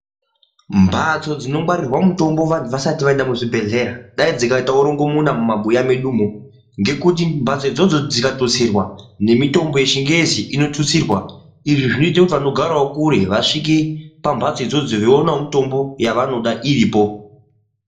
Mbatso dzinongwarirwa mwitombo vantu vasati vaenda kuzvibhehlera dai dzikaitawo rongomona mumabuya medumo ngekuti mbatso idzodzo dzikatusirwa nemitombo yechingezi inotutsirwa izvi zvinoite kuti vanogarawo kure vasvike pambatso idzodzo veionawo mitombo yavoda iripo .